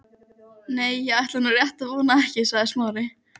Nei, ég ætla nú rétt að vona ekki sagði Smári.